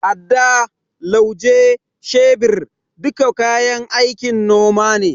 Adda, Lauje, shebir duka kayan aikin noma ne.